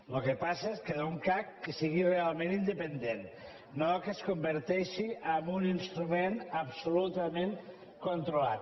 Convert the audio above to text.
el que passa és que d’un cac que sigui realment independent no que es converteixi en un instrument absolutament controlat